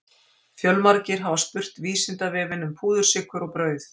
Fjölmargir hafa spurt Vísindavefinn um púðursykur og brauð.